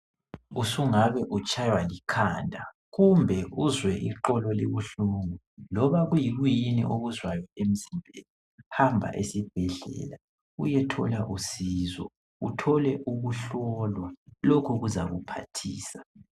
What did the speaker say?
Usungabe utshaywa likhanda kumbe uzwe iqolo libuhlungu, loba kuyikuyini okuzwayo emzimbeni, hamba esibhedlela uyethola usizo. Uthole ukuhlolwa, lokhu kuzakuphathisa.